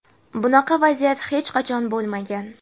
Bunaqa vaziyat hech qachon bo‘lmagan.